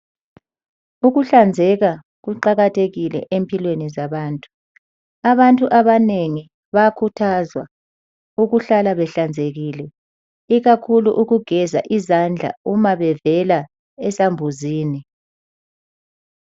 Ukuhlanzeka kuqakathekile empilweni zabantu. Abantu abanengi bayakhuthazwa ukuhlala behlanzekile ikakhulu ukugeza izandla uma bevela esambuzini.